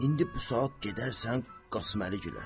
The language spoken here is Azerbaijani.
İndi bu saat gedərsən Qasıməli gülə.